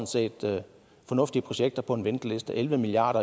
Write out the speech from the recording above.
set fornuftige projekter på en venteliste elleve milliard